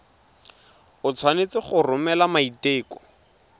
o tshwanetse go romela maiteko